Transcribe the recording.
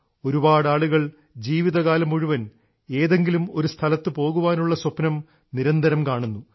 ഒരുപാടാളുകൾ ജീവിതകാലം മുഴുവൻ ഏതെങ്കിലും ഒരു സ്ഥലത്തു പോകാനുള്ള സ്വപ്നം നിരന്തരം കാണുന്നു